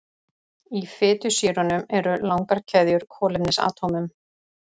Í fitusýrunum eru langar keðjur kolefnisatómum.